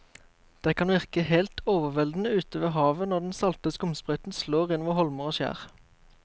Det kan virke helt overveldende ute ved havet når den salte skumsprøyten slår innover holmer og skjær.